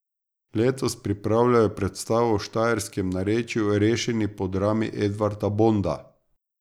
Letos pripravljajo predstavo v štajerskem narečju Rešeni po drami Edvarda Bonda.